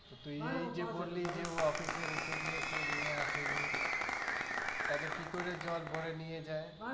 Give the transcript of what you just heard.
তুই এই যে বললি যে ও office এ রেখে দিয়েছে নিয়ে আসেনি তাহলে কি করে jug ভরে নিয়ে যায়?